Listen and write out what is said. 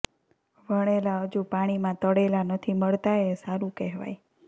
વણેલાં હજુ પાણીમાં તળેલા નથી મળતાં એ સારું કહેવાય